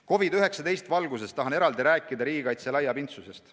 COVID-19 valguses tahan eraldi rääkida riigikaitse laiapindsusest.